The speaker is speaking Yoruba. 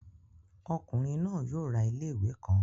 Ọkunrin naa yoo ra ile-iwe kan